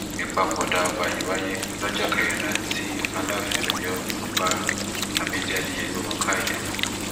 ìpapòdà ọba yìí wáyé lọjọ kẹrìnlá tí aláàfin ọyọ ọba lámìdí adéyẹmi wọ káà ilé lọ